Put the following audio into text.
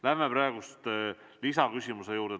Lähme praegu lisaküsimuse juurde.